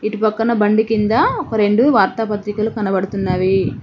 ఇటు పక్కన బండి కింద ఒక రెండు వార్తా పత్రికలు కనబడుతున్నవి.